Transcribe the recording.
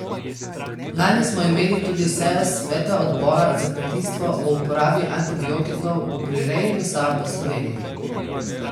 Lani smo imeli tudi sejo Sveta odbora za kmetijstvo o uporabi antibiotikov v prireji mesa v Sloveniji.